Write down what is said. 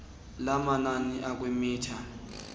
lamanani akwi mitha